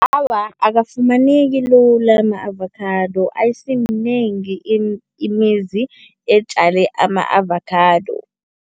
Awa, akafumaneki lula ama-avakhado. Ayisiminengi imizi ezitjale ama-avakhado.